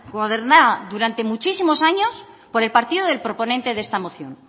gobernada durante muchísimos años por el partido del proponente de esta moción